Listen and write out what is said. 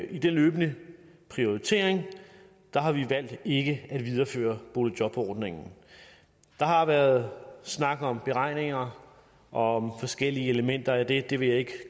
i den løbende prioritering har vi valgt ikke at videreføre boligjobordningen der har været snak om beregninger og om forskellige elementer af det det vil jeg ikke